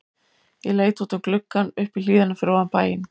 Ég leit út um gluggann upp í hlíðina fyrir ofan bæinn.